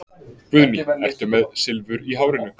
Guðný: Ertu með Silfur í hárinu?